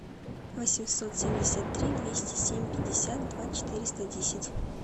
восемьсот семьдесят три двести семь пятьдесят два четыреста десять